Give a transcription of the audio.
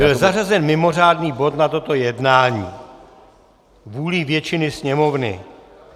Byl zařazen mimořádný bod na toto jednání vůlí většiny Sněmovny.